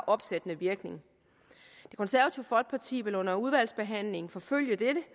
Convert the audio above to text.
opsættende virkning det konservative folkeparti vil under udvalgsbehandlingen forfølge dette